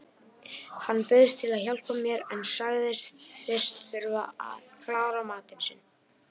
Hann bauðst til að hjálpa mér en sagðist fyrst þurfa að klára matinn sinn.